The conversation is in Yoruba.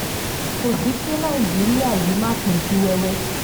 kò sì kí nàìjíríà yìí má pín sí wẹ́wẹ́